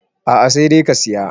a a sai dai ka Siya